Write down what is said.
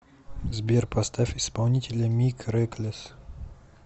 сбер поставь исполнителя мик реклесс